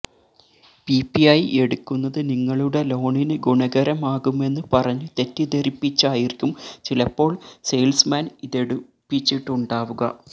PPI എടുക്കുന്നത് നിങ്ങളുടെ ലോണിന് ഗുണകരമാകുമെന്ന് പറഞ്ഞ് തെറ്റിദ്ധരിപ്പിച്ചായിരിക്കും ചിലപ്പോള് സെയില്സ്മാന് ഇതെടുപ്പിച്ചിട്ടുണ്ടാവുക